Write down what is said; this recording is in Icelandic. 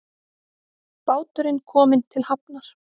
Báturinn kominn til hafnar